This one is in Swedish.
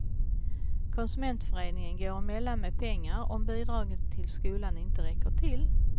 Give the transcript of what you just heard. Konsumentföreningen går emellan med pengar om bidragen till skolan inte räcker till.